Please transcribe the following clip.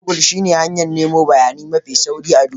Gogul shine hanyar nemo bayani mafi sauri a duniya.